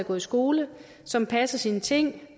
gå i skole som passer sine ting